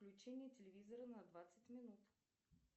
включение телевизора на двадцать минут